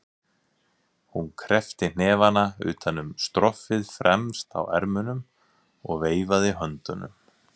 Hún kreppti hnefana utan um stroffið fremst á ermunum og veifaði höndunum.